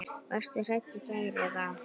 Varstu hrædd í gær eða?